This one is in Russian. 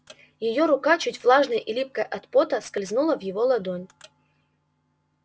её рука чуть влажная и липкая от пота скользнула в его ладонь